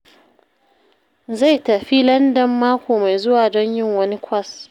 Zai tafi Landan mako mai zuwa don yin wani kwas